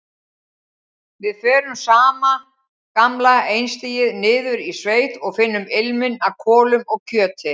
Við förum sama gamla einstigið niður í sveit og finnum ilminn af kolum og kjöti.